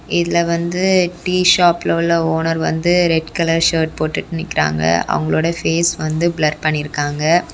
இதுல வந்து டீ ஷாப்ல உள்ள ஓனர் வந்து ரெட் கலர் சர்ட் போட்டுட்டு நிக்குறாங்க அவங்களோட ஃபேஸ் வந்து பிளர் பண்ணிருக்காங்க.